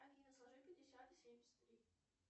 афина сложи пятьдесят и семьдесят три